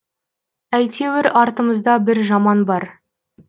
әйтеуір артымызда бір жаман бар